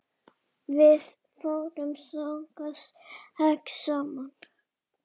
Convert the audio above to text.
Við fórum þangað sex saman.